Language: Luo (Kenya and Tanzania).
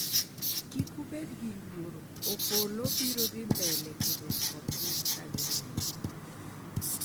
kik ubed gi luoro, Opollo biro dhi mbele kedokodgi ka gineno